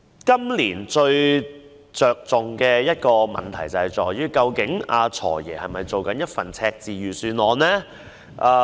今年最重要的一個問題是，究竟"財爺"這份是否赤字預算案呢？